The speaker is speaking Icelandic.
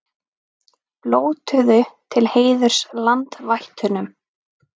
Blótuðu til heiðurs landvættunum